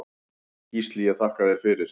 Gísli ég þakka þér fyrir.